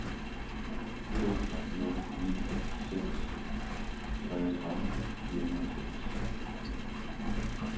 to nul ni seks treogtredive fire hundrede og seks